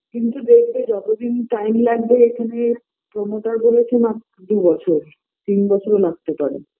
কিন্তু দেখবে যতদিন time লাগবে এখানে promoter বলেছে মাত্র দু বছর তিন বছরও লাগতে পারে